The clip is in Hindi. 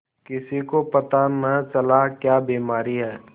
किसी को पता न चला क्या बीमारी है